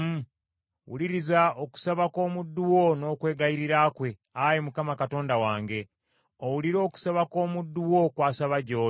Wuliriza okusaba kw’omuddu wo n’okwegayirira kwe, Ayi Mukama Katonda wange, owulire okusaba kw’omuddu wo kwasaba gy’oli.